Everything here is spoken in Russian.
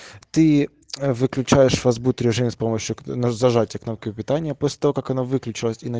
ты выключаешь фастбут режим с помощью нажатия кнопки питания после того как она выключи